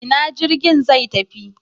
Ina jirgin zai tafi?